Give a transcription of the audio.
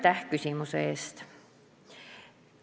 Aitäh küsimuse eest!